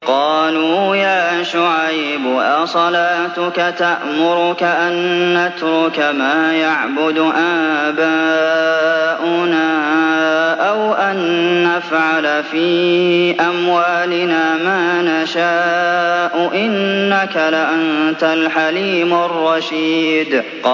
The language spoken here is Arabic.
قَالُوا يَا شُعَيْبُ أَصَلَاتُكَ تَأْمُرُكَ أَن نَّتْرُكَ مَا يَعْبُدُ آبَاؤُنَا أَوْ أَن نَّفْعَلَ فِي أَمْوَالِنَا مَا نَشَاءُ ۖ إِنَّكَ لَأَنتَ الْحَلِيمُ الرَّشِيدُ